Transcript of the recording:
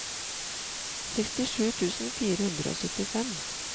sekstisju tusen fire hundre og syttifire